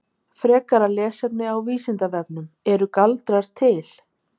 Frekara lesefni á Vísindavefnum Eru galdrar til?